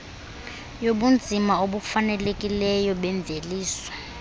yobunzima obufanelekileyo bemveliso